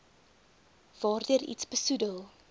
waardeur iets besoedel